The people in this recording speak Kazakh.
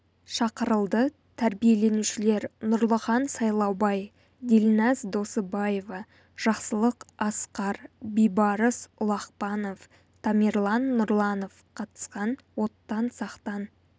шақырылды тәрбиеленушілер нұрлыхан сайлаубай дильназ досыбаева жақсылық асқар бейбарыс ұлақпанов тамерлан нұрланов қатысқан оттан сақтан